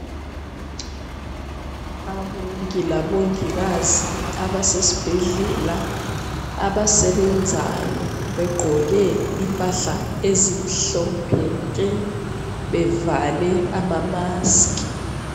Abongi labongikazi abasesbhedlela abasebenzayo begqoke impahla ezimhlophe nke. Bevale ama mask.